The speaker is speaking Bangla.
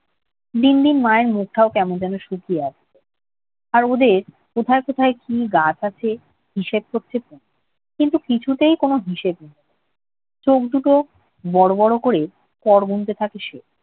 দিন দিন মায়ের মুখটাও কেমন জানি শুকিয়ে আসছে। আর ওদের কোথায় কোথায় কি গাছ আছে হিসেবে করছে তনু। কিন্তু কিছুতেই কোনো হিসেবে মিলছে না। চোখ দুটো বড় বড় করে কর গুনতে থাকে সে।